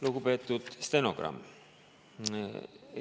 Lugupeetud stenogramm!